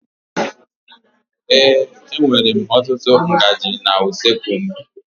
Ee, e nwèrè m ọtụtụ ngaji na usoekwu m.